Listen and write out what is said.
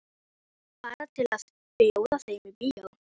Segist skilja hann til að gera honum til geðs.